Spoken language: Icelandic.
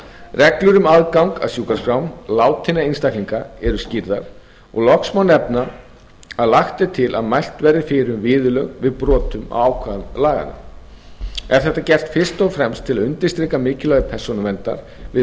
reglur um aðgang að sjúkraskrám látinna einstaklinga eru skýrðar og loks má nefna að lagt er til að mælt verði fyrir um viðurlög við brotum á ákvæðum laganna er þetta gert fyrst og fremst til að undirstrika mikilvægi persónuverndar við